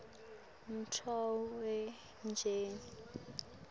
nkhotfwetjeni